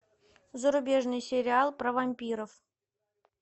зарубежный сериал про вампиров